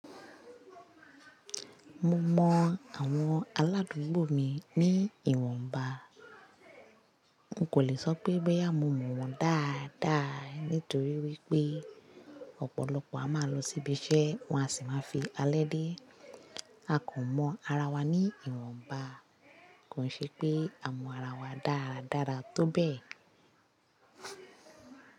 Mo mọ àwọn aládùúgbò mi ní ìwọ̀nba. N kò le sọ pé boyà mo mọ̀ wọ́n dáadáa nítorí wípé ọ̀pọ̀lọpọ̀ a máa lọ síbi iṣẹ́ wọn a sì máa fi alẹ́ dé. A kò mọ ara wa ní ìwọ̀nba. Kò ṣe pé a mọ ara wa dáradára tó bẹ́ẹ̀